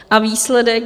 A výsledek?